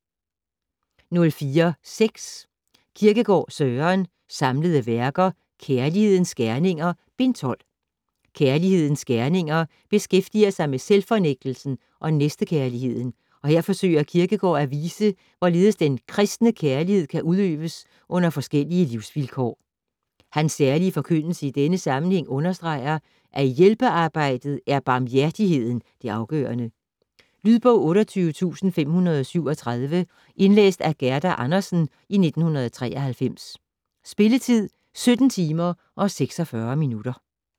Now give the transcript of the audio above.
04.6 Kierkegaard, Søren: Samlede Værker: Kjerlighedens Gjerninger: Bind 12 "Kjerlighedens Gerninger" beskæftiger sig med selvfornægtelsen og næstekærligheden, og her forsøger Kierkegård at vise, hvorledes den kristne kærlighed kan udøves under forskellige livsvilkår. Hans særlige forkyndelse i denne sammenhæng understreger, at i hjælpearbejdet er barmhjertigheden det afgørende. Lydbog 28537 Indlæst af Gerda Andersen, 1993. Spilletid: 17 timer, 46 minutter.